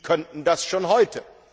Die könnten das schon heute.